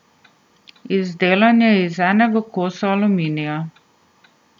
Izdelan je iz enega kosa aluminija.